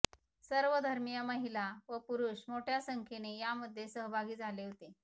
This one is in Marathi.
सर्वधर्मीय महिला व पुरुष मोठ्या संख्येने यामध्ये सहभागी झाले होते